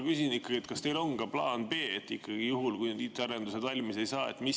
Küsin, kas teil on ka plaan B, juhuks kui IT‑arendused valmis ei saa?